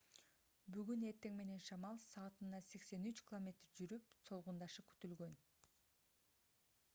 бүгүн эртең менен шамал саатына 83 км жүрүп солгундашы күтүлгөн